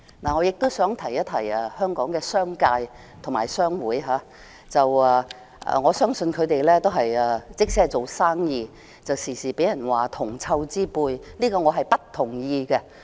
我亦想提醒香港的商界和商會，我相信他們即使只是做生意，但經常也會被人說是銅臭之輩，對此我不同意。